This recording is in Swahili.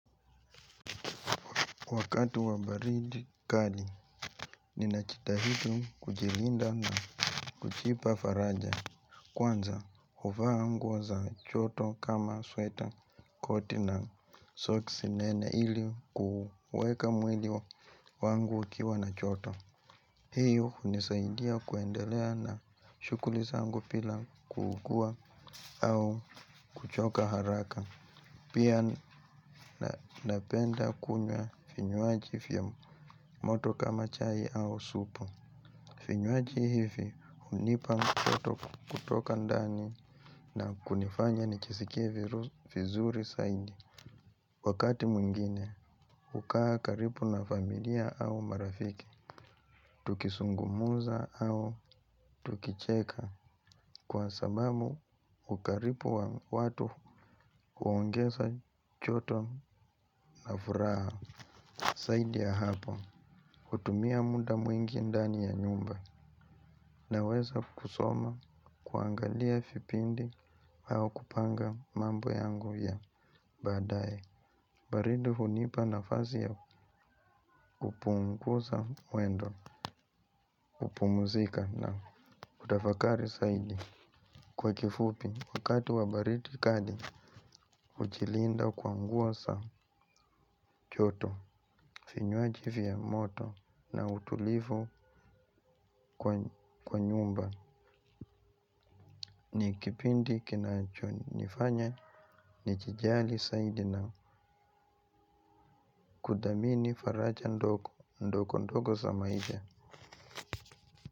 Wakati wa baridi kali, ninaji tahidi kujilinda na kujipa faraja. Kwanza, huvaa nguo za joto kama sweta koti na soksi nene ili kuweka mwili wangu ukiwa na joto. Hiyo, hunisaidia kuendelea na shughuli zangu bila kukua au kuchoka haraka. Pia napenda kunywa vinywaji vya moto kama chai au supu vinywaji hivi hunipa joto kutoka ndani na kunifanya nijisikie vizuri zaidi. Wakati mwingine hukaa karibu na familia au marafiki. Tukizungumza au tukicheka kwa sababu ukaribu wa watu huongeza joto na furaha zaidi ya hapo, hutumia muda mwingi ndani ya nyumba. Na weza kusoma, kuangalia vipindi, au kupanga mambo yangu ya baadaye. Baridi hunipa nafasi ya kupunguza mwendo, kupumzika na kutafakari zaidi. Kwa kifupi, wakati wa baridi kali, hujilinda kwa nguo za joto vinywaji vya moto na utulivu kwa nyumba. Ni kipindi kinacho nifanya ni jijali zaidi na kuthamini faraja ndogo ndogo za maisha.